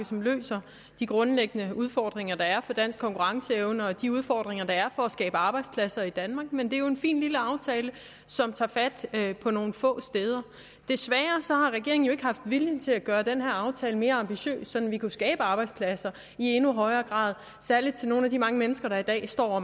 som løser de grundlæggende udfordringer der er for dansk konkurrenceevne og de udfordringer der er for at skabe arbejdspladser i danmark men det er jo en fin lille aftale som tager fat på nogle få steder desværre har regeringen jo ikke haft viljen til at gøre den her aftale mere ambitiøs sådan at vi kunne skabe arbejdspladser i endnu højere grad særlig til nogle af de mange mennesker der i dag står og